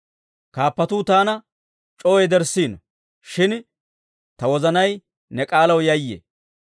Kaappatuu taana c'oo yederssiino; shin ta wozanay ne k'aalaw yayyee.